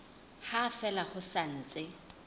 ha fela ho sa ntse